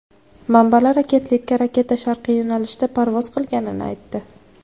Manbalar agentlikka raketa sharqiy yo‘nalishda parvoz qilganini aytdi.